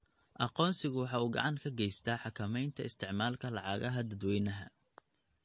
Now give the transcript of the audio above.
Aqoonsigu waxa uu gacan ka geystaa xakameynta isticmaalka lacagaha dadweynaha.